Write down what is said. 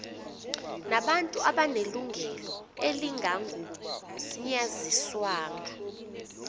nabantu abanelungelo elingagunyaziswanga